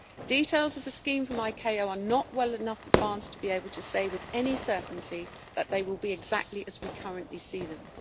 Details of the scheme from ICAO are not well enough advanced to be able to say with any certainty that they will be exactly as we currently see them.